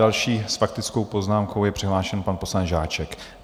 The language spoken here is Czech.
Další s faktickou poznámkou je přihlášen pan poslanec Žáček.